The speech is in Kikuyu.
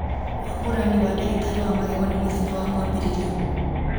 wamũrani wa ndagĩtarĩ wa magego nĩ mũthenya wa mwambĩrĩrio